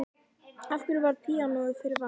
Af hverju varð píanóið fyrir valinu?